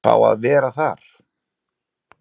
Fá að vera þar.